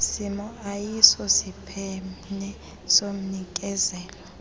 simo ayisosiphene somnikezeli